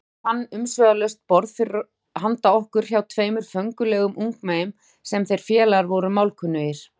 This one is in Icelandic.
Heimir fann umsvifalaust borð handa okkur hjá tveimur föngulegum ungmeyjum sem þeir félagar voru málkunnugir.